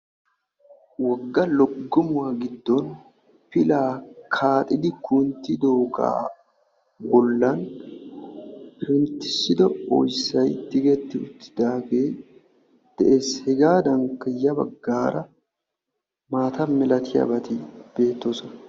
Wogga loggomuwa giddon pilaa kaaxidi kunttidoogaa bollan penttissido oyssayi tiyetti uttidaagee de'es. Hegaadankka ya baggaara maata milatiyabati beettoosona.